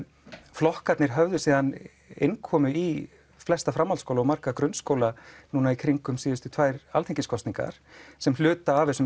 flokkarnir höfðu síðan innkomu í flesta menntaskóla og marga grunnskóla í kringum síðustu tvær alþingiskosningar sem hluta af þessum